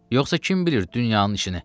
Yoxsa kim bilir dünyanın işini?